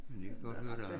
Men jeg kan godt høre der er